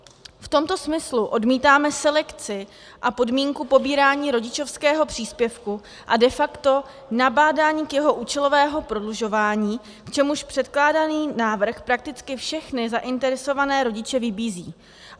V tomto smyslu odmítáme selekci a podmínku pobírání rodičovského příspěvku a de facto nabádání k jeho účelovému prodlužování, k čemuž předkládaný návrh prakticky všechny zainteresované rodiče vybízí.